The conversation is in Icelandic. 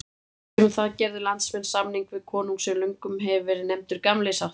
Um það gerðu landsmenn samning við konung sem löngum hefur verið nefndur Gamli sáttmáli.